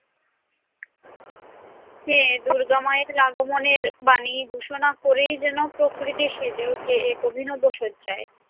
হ্যাঁ দুর্গা মায়ের আগমনের বাণী ঘোষণা করেই যেনো প্রকৃতি সেজে ওঠে এক অভিনব সজ্জায়।